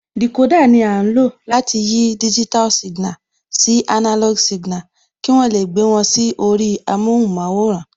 Dìkódà ni à ń lò láti yí digital signal sí analog signal, kí wọ́n lè gbé wọn sí orí amóhunmáwòrán